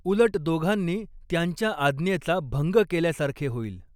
उलट दोघांनी त्यांच्या आज्ञेचा भंग केल्यासारखे होईल